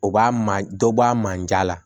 O b'a ma dɔ bɔ a manja la